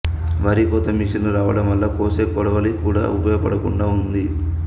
వరి కోత మిషన్లు రావడం వల్ల కోసే కోడవలి కూడా ఉపయోగపడకుండా ఉంది